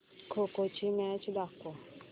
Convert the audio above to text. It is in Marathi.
खो खो ची मॅच दाखव